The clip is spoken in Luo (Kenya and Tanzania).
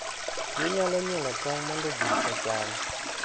Ginyalo nyuolo tong' mondo ji ocham.